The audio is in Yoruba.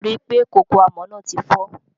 Ri pé kókó àmọ́ náà ti fọ́.